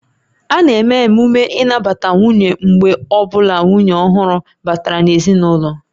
A na-eme emume nnabata nwunye mgbe ọ bụla nwunye ọhụrụ batara n'ezinụlọ